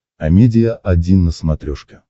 амедиа один на смотрешке